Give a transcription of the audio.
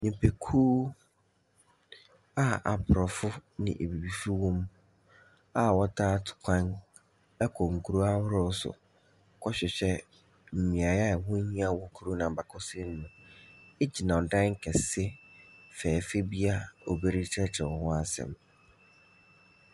Nnipakuw a aborɔfo ne abibifo wɔm a wɔtaa tu kwan kɔ nkurow ahorow so kɔhwehwɛ mmeaeɛ a ɛho hia wɔ kurow ne mu n’abakɔsɛm gyina dan kɛse fɛɛfɛ bi a obi rekyerɛkyerɛ ho asɛm.